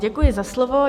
Děkuji za slovo.